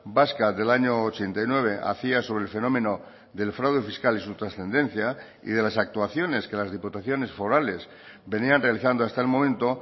vasca del año ochenta y nueve hacía sobre el fenómeno del fraude fiscal y su trascendencia y de las actuaciones que las diputaciones forales venían realizando hasta el momento